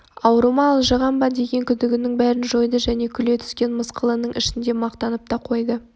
ауру ма алжыған ба деген күдігінің бәрін жойды және күле түскен мысқылының ішінде мақтанып та қойды